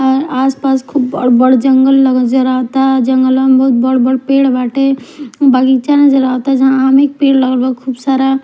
और आस पास खूब बड़ बड़ जंगल जरावता जंगलवा में खूब बढ़ बढ़ पेड़ बाटे बगीचा नज़र आवाता जहां आमे के पेड़ लगल बाटे खूब सारा --